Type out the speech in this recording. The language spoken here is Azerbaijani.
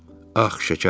Ax şəkərim!